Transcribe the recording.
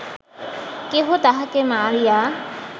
কেহ তাঁহাকে মারিয়া